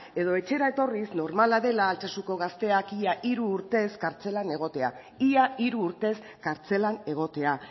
edo etxera etorriz normala dela altsasuko gazteak ia hiru urtez kartzelan egotea ia hiru urtez kartzelan egotea